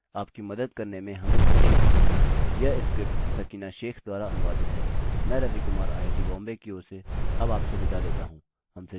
आपको कोई भी कठिनाई है तो कृपया मुझसे संपर्क करें आपकी मदद करने में हमें खुशी होगी